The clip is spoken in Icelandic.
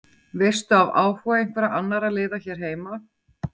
Veistu af áhuga einhverra annarra liða hér heima?